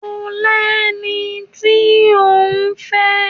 Ṣo lẹni tí òún fẹ́?